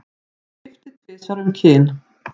Skipti tvisvar um kyn